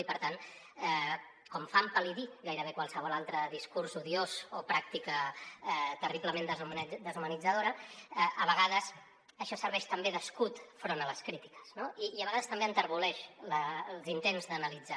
i per tant com fa empal·lidir gairebé qualsevol altre discurs odiós o pràctica terriblement deshumanitzadora a vegades això serveix també d’escut enfront de les crítiques no i a vegades també enterboleix els intents d’analitzar